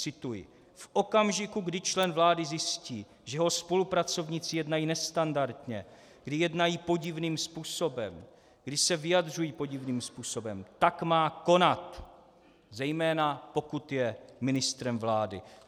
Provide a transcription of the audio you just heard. Cituji: "V okamžiku, kdy člen vlády zjistí, že jeho spolupracovníci jednají nestandardně, kdy jednají podivným způsobem, kdy se vyjadřují podivným způsobem, tak má konat, zejména pokud je ministrem vlády."